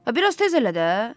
Bir az tez elə də.